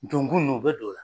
Donkun ninnu u bɛ don o la